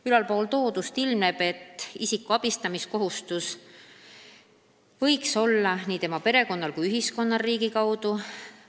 Ülaltoodust ilmneb, et isiku abistamise kohustus võiks olla nii tema perekonnal kui ka ühiskonnal riigi kaudu.